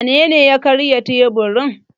Wanene ya karya teburin?